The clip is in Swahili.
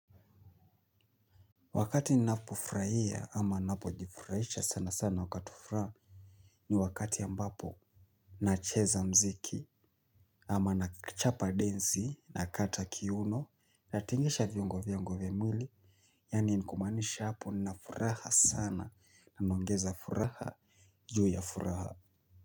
Wakati ninapofurahia ama ninapojifurahisha sana sana wakati wa furaha ni wakati ambapo nacheza mziki ama nachapa densi nakata kiuno natingisha viungo viungo vyungo vya mwili yaani nikumaanisha hapo ninafuraha sana ninaongeza furaha juu ya furaha.